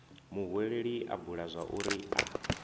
muhweleli a bula zwauri a